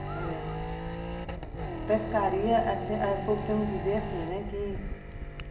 Olha... Pescaria, o povo tem um dizer assim, né? Que